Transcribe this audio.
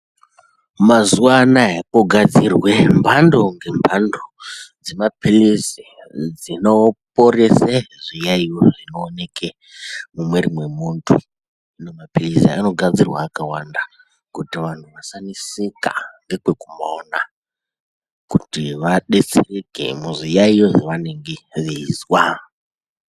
Mazuwa anaa kogadzirwe mphando ngemphando dzemapilizi dzinoporese zviyaeyo zvinooneke mumwiri memuntu ende mapilizi aya anogadzirwa akawanda kuti vantu vasaneseka ngekwekumaona kuti vadetsereke muzviyaeyo zvavanenge veizwa.